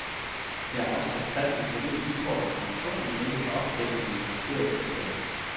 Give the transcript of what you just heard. Her er afsat plads til sterile bykort og informationer, men ikke til opklæbning af improviserede plakater.